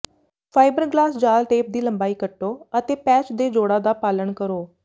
fibreglass ਜਾਲ tape ਦੀ ਲੰਬਾਈ ਕੱਟੋ ਅਤੇ ਪੈਚ ਦੇ ਜੋੜਾਂ ਦਾ ਪਾਲਣ ਕਰੋ